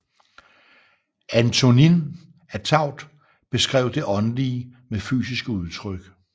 Antonin Artaud beskrev det åndelige med fysiske udtryk